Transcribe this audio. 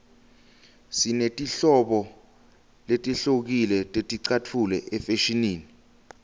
sinetinhlobo letihlukile teticatfulo efashinini